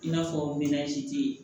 I n'a fɔ